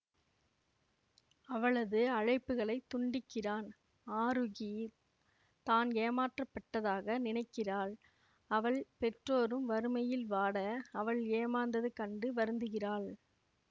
அவளது அழைப்புகளை துண்டிக்கிறான் ஆரூகி தான் ஏமாற்றப்பட்டதாக நினைக்கிறாள் அவள் பெற்றோரும் வறுமையில் வாட அவள் ஏமாந்தது கண்டு வருந்துகிறாள்